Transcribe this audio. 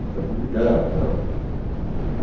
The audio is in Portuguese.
Precisa publicar, tal.